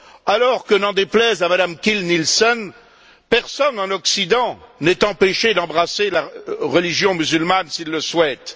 Alors que, n'en déplaise à Mme Kiil Nielsen, personne en Occident n'est empêché d'embrasser la religion musulmane s'il le souhaite.